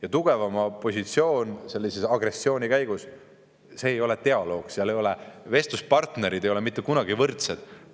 Aga tugevama positsioon sellise agressiooni käigus ei ole dialoog, vestluspartnerid ei ole seal mitte kunagi võrdsed.